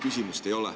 Küsimust ei ole.